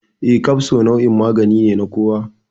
Eh, kafso nau'in magani ne na kowa.